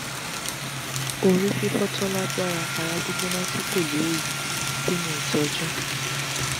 orififo tó lágbára ara gbigbona ti ko le oyi kini itoju?